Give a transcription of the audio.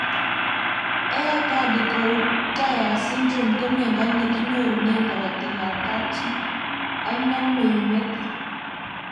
Aicardi Goutieres syndrome ko miondo nekinyorunee karatik ab kapchii ak namei metit